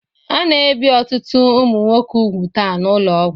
A na-ebi ọtụtụ ụmụ nwoke úgwù taa n'ụlọọgwụ